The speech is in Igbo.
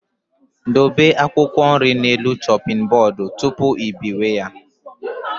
Dobe akwụkwọ nri n'elu shoping bodu tụpụ ị biwe ya